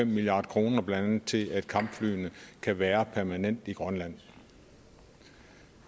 milliard kr blandt andet til at kampflyene kan være permanent i grønland